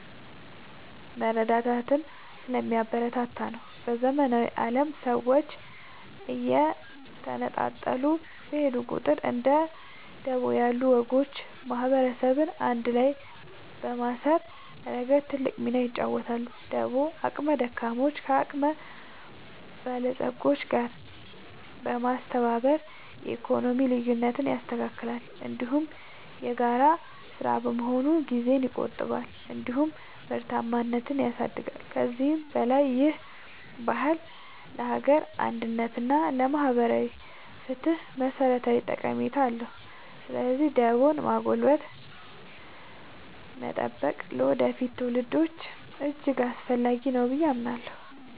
መረዳዳትን ስለሚያበረታታ ነው። በዘመናዊው ዓለም ሰዎች እየተነጣጠሉ በሄዱ ቁጥር፣ እንደ ደቦ ያሉ ወጎች ማህበረሰብን አንድ ላይ በማሰር ረገድ ትልቅ ሚና ይጫወታሉ። ደቦ አቅመ ደካሞችን ከአቅመ በለጾች ጋር በማስተባበር የኢኮኖሚ ልዩነትን ያስተካክላል፤ እንዲሁም የጋራ ሥራ በመሆኑ ጊዜን ይቆጥባል እንዲሁም ምርታማነትን ያሳድጋል። ከዚህም በላይ ይህ ባህል ለሀገር አንድነት እና ለማህበራዊ ፍትህ መሠረታዊ ጠቀሜታ አለው። ስለዚህ ደቦን ማጎልበትና መጠበቅ ለወደፊት ትውልዶች እጅግ አስፈላጊ ነው ብዬ አምናለሁ።